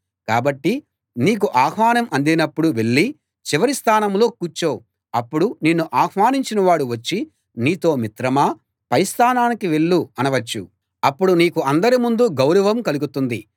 కాబట్టి నీకు ఆహ్వానం అందినప్పుడు వెళ్ళి చివరి స్థానంలో కూర్చో అప్పుడు నిన్ను ఆహ్వానించిన వాడు వచ్చి నీతో మిత్రమా పై స్థానానికి వెళ్ళు అనవచ్చు అప్పుడు నీకు అందరి ముందూ గౌరవం కలుగుతుంది